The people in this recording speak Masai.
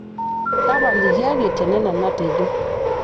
tapalikiaki tenena natejo